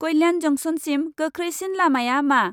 कल्यान जंसनसिम गोख्रैसिन लामाया मा?